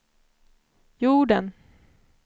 jorden